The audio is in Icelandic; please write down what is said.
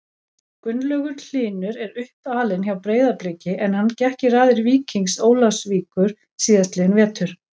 Gunnlaugur Hlynur er uppalinn hjá Breiðabliki en hann gekk í raðir Víkings Ólafsvíkur síðastliðinn vetur.